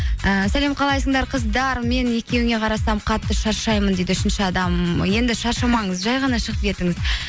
ііі сәлем қалайсыңдар қыздар мен екеуіңе қарасам қатты шаршаймын дейді үшінші адам енді шаршамаңыз жай ғана шығып кетіңіз